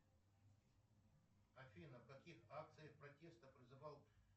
афина в каких акциях протеста призывал